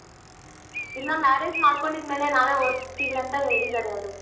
ಇಲ್ಲ marriage ಮಾಡ್ಕೊಂಡಿದ್ ಮೇಲೆ ನಾವೇ ಓದಿಸ್ತಿವಿ ಅಂತ ಹೇಳಿದಾರೆ ಅವ್ರು.